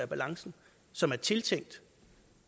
balance som er tiltænkt